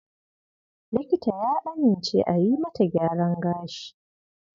Likita ya amince a yi mata gyaran gashi.